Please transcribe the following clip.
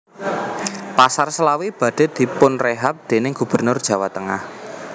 Pasar Slawi badhe dipunrehab dening gubernur Jawa tengah